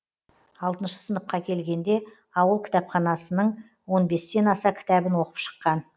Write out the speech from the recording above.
алтыншы сыныпқа келгенде ауыл кітапханасының он бестен аса кітабін оқып шыққан